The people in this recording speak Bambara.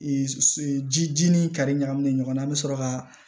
ji ni kari ɲagaminen ɲɔgɔn na an bɛ sɔrɔ ka